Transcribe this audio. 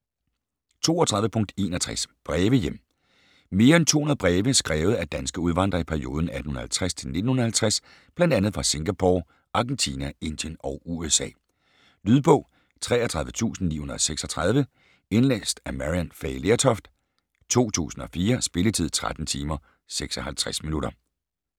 32.61 Breve hjem Mere end 200 breve skrevet af danske udvandrere i perioden 1850-1950 fra bl.a. Singapore, Argentina, Indien og USA. Lydbog 33936 Indlæst af Maryann Fay Lertoft, 2004. Spilletid: 13 timer, 56 minutter.